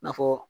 I n'a fɔ